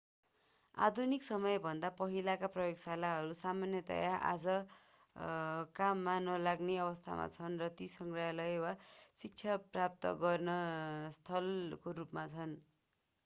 आधुनिक समयभन्दा पहिलेका प्रयोगशालाहरू सामान्यतया आज काम नलाग्ने अवस्थामा छन् र ती सङ्ग्रहालय वा शिक्षा प्राप्त गर्ने स्थलका रूपमा छन्